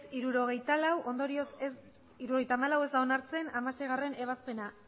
hirurogeita hamalau ondorioz ez da onartzen hamaseigarrena ebazpena